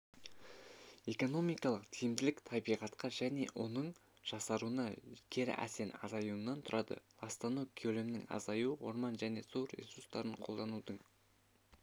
экономикалық тиімділік табиғатқа және оның жақсаруына кері әсерінің азаюынан тұрады ластану көлемінің азаюы орман және су ресурстарын қолданудың